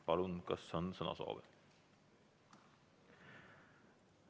Palun, kas on sõnasoovi?